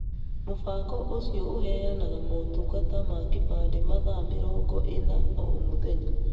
Mũbango ũcio ũheyanaga motungata ma kĩbandĩ mathaa mĩrongo ĩna o mũthenya.